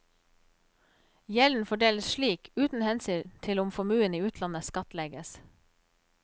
Gjelden fordeles slik, uten hensyn til om formuen i utlandet skattlegges.